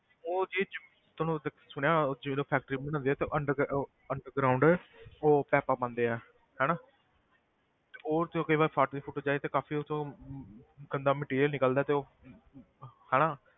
ਉਹ ਸੁਣਿਆ ਉਹ ਜਦੋਂ factory ਬਣਾਉਂਦੇ ਆ ਤੇ underg~ ਉਹ underground ਉਹ ਪੈਂਪਾਂ ਪਾਊਂਦੇ ਆ ਹਨਾ ਤੇ ਉਹ ਜਦੋਂ ਕਈ ਵਾਰ ਫਟ ਫੁਟ ਜਾਏ ਤੇ ਕਾਫ਼ੀ ਉਹ ਚੋਂ ਗੰਦਾ material ਨਿਕਲਦਾ ਤੇ ਹਨਾ,